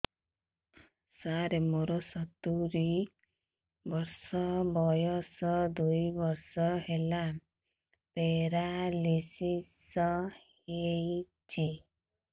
ସାର ମୋର ସତୂରୀ ବର୍ଷ ବୟସ ଦୁଇ ବର୍ଷ ହେଲା ପେରାଲିଶିଶ ହେଇଚି